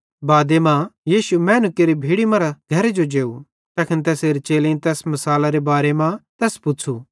बादे मां यीशु मैनू केरि भीड़ी मरां घरे जो जेव तैखन तैसेरे चेलेईं तैस मिसालारे मतलबेरे बारे मां तैस पुच़्छ़ू